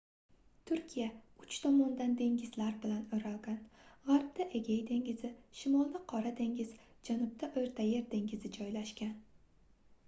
turkiya uch tomondan dengizlar bilan oʻralgan gʻarbda egey dengizi shimolda qora dengiz janubda oʻrta yer dengizi joylashgan